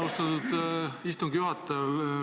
Austatud istungi juhataja!